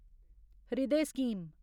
हृदय स्कीम